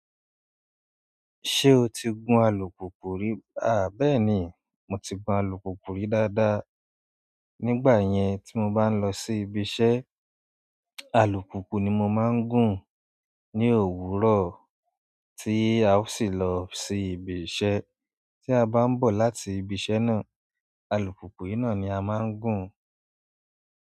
Ṣé o ti gun alùpùpù rí? Bẹ́ẹ̀ni, mo ti gun alùpùpù rí dáadáa. Nígbà yẹn tí mo bá ń lọ sí ibiṣẹ́, alùpùpù ni mo máa ń gùn ní òwúrọ̀ tí a ó sì lọ sí ibiṣẹ́. Tí a bá ń bọ̀ láti ibiṣẹ́ náà, alùpùpù yìí náà ni a máa ń gùn.